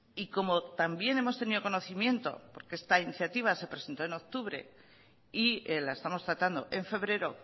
y como también hemos tenido conocimiento porque esta iniciativa se presentó en octubre y la estamos tratando en febrero